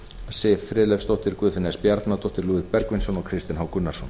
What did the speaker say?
siv friðleifsdóttir guðfinna s bjarnadóttir lúðvík bergvinsson og kristinn h gunnarsson